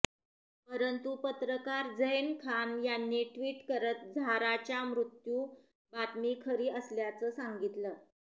परंतु पत्रकार झैन खान यांनी ट्विट करत झाराच्या मृत्यू बातमी खरी असल्याचं सांगितलं